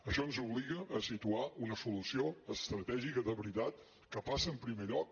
això ens obliga a situar una solució estratègica de veritat que passa en primer lloc